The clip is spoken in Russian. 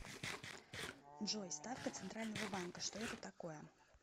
джой ставка центрального банка что это такое